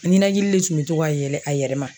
Ninakili de tun bɛ to ka yɛlɛ a yɛrɛ ma